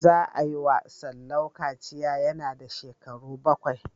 Za a yi wa Salau kaciya yana da shekaru bakwai.